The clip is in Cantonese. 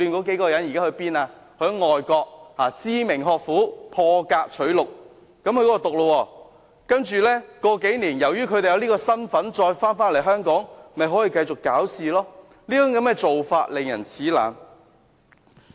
他們獲外國知名學府破格取錄；數年後，由於他們有這個身份，回來香港又可以繼續攪事，這種做法令人齒冷。